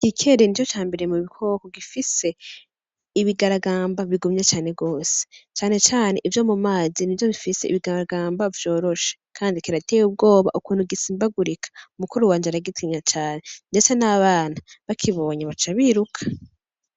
Igikere nico cambere mu bikoko gifise ibigaragamba bigumye cane gose, cane cane ivyo mumazi nivyo bifise ibigaragamba vyoroshe kandi kirateye ubwoba ukuntu gisimbagurika, mukuru waje aragitinya cane ndetse n'abana, bakibonye baca biruka.